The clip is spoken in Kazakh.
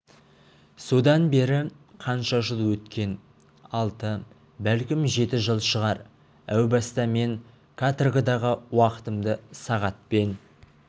содан бері қанша жыл өткен алты бәлкім жеті жыл шығар әу баста мен каторгадағы уақытымды сағатпен